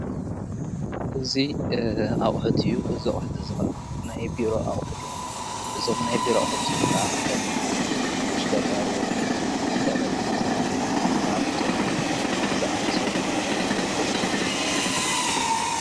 እዙይ ኣብሕትዩ ዝዉሕ ናይ ቢሮ ኣዉሕድ እዞም ናይብሮ ኣሕድ ም ከዓ ኸምን ተሽከጋርዎ እምበር ጠረቤዛ ኣላብቶኦብ ዝኣመሰሉ ዘርክብዎም እዮም።